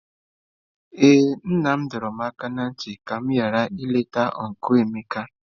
Ee nna m dọrọ m aka ná ntị ka m ghara ileta ọncụl Emeka.